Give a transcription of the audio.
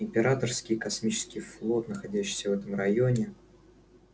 императорский космический флот находящийся в этом районе сейчас в руках четырёх королевств в том числе и анакреона